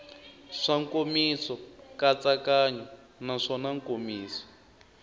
swa nkomiso nkatsakanyo naswona nkomiso